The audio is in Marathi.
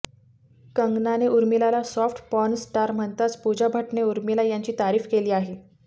कंगनाने उर्मिलाला सॉफ्ट पोर्न स्टार म्हणताच पूजा भट्टने उर्मिला यांची तारीफ केली आहे